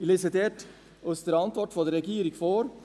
Ich lese dort aus der Antwort der Regierung vor: